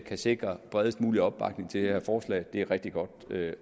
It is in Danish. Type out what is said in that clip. kan sikre bredest mulig opbakning til det her forslag det er rigtig godt